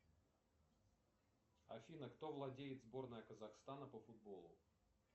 афина кто владеет сборной казахстана по футболу